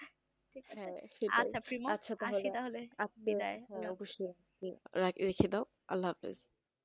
আজকে তাহলে রেখে দাও আল্লাহাফিজ